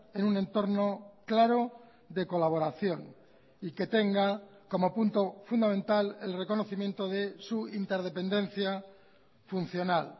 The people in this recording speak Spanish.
en un entorno claro de colaboración y que tenga como punto fundamental el reconocimiento de su interdependencia funcional